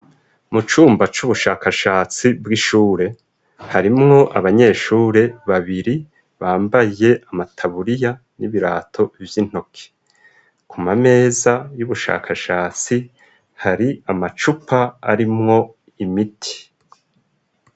Mu cumba c'ubushakashatsi bw'ishure. Harimwo abanyeshure babiri bambaye amataburiya n'ibirato vy'intoke. Ku mameza y'ubushakashatsi hari amacupa arimwo imiti.